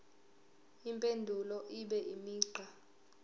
impendulo ibe imigqa